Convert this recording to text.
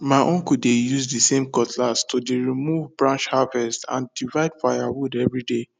ma uncle dey use the same cutlass to de remove branch harvest and divide firewood every day